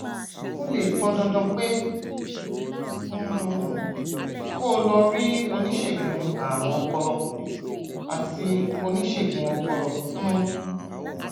ó lè pọn dandan pé um kó o lọ rí oníṣègùn ààrùn ọpọlọ àti oníṣègùn ọpọlọ um